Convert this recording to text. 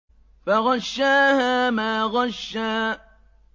فَغَشَّاهَا مَا غَشَّىٰ